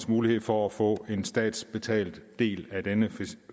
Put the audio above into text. mulighed for at få statsbetalt en del af denne